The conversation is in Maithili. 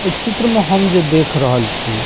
ई चित्र में हम जे देख रहल छी --